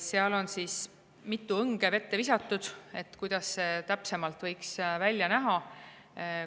Seal on mitu õnge vette visatud, kuidas see täpsemalt võiks välja näha.